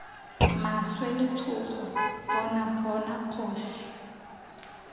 maswe letshogo bona bona kgosi